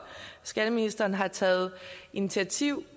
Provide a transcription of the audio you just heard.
skatteministeren har taget initiativ